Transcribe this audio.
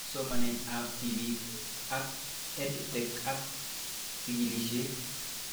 Somanet ab tipik ak EdTech ak chig'ilishet